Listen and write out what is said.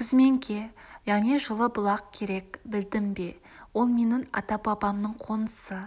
күзменке яғни жылы-бұлақ керек білдің бе ол менің ата-бабамның қонысы